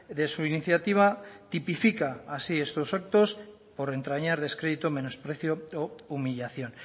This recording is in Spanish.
de su iniciativa tipifica así estos actos por entrañar descrédito menosprecio o humillación